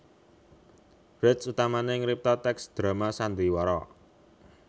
Brecht utamané ngripta tèks drama sandiwara